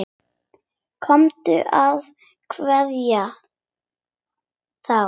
Komdu og kveddu þá.